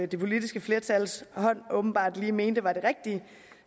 det politiske flertals hold åbenbart lige mente var det rigtige